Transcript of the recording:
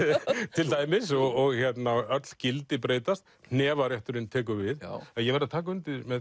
til dæmis öll gildi breytast hnefarétturinn tekur við ég verð að taka undir með